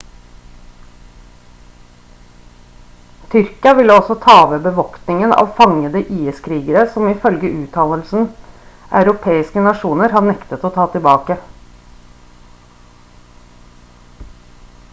tyrkia ville også ta over bevoktningen av fangede is-krigere som ifølge uttalelsen europeiske nasjoner har nektet å ta tilbake